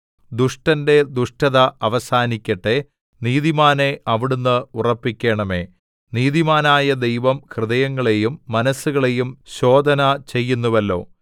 ദുഷ്ടന്റെ ദുഷ്ടത അവസാനിക്കട്ടെ നീതിമാനെ അവിടുന്ന് ഉറപ്പിക്കണമേ നീതിമാനായ ദൈവം ഹൃദയങ്ങളെയും മനസ്സുകളെയും ശോധനചെയ്യുന്നുവല്ലോ